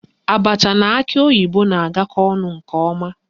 Abacha na akị oyibo na-agakọ ọnụ nke ọma